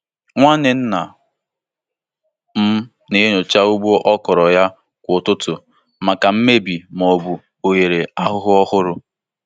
Nwanne nna m na-enyocha ugbo ọkwụrụ ya kwa ụtụtụ maka mmebi ma ọ bụ oghere ahụhụ ọhụrụ.